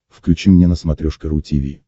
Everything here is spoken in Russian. включи мне на смотрешке ру ти ви